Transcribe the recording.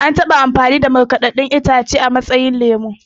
An taɓa amfani da ruwan markaɗaɗɗun kayan itace a matsayin lemo